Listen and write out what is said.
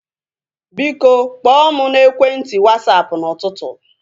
Biko, kpọọ mụ n'ekwenti Wasapụ n'ụtụtụ